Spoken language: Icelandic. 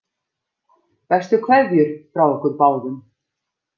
Bestu kveðjur frá okkur báðum.